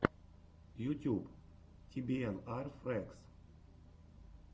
ютюб ти би эн ар фрэгс